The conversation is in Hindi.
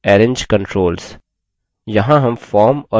step 5 arrange controls